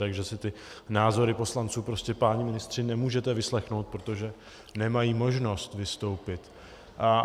Takže si ty názory poslanců prostě, páni ministři, nemůžete vyslechnout, protože nemají možnost vystoupit.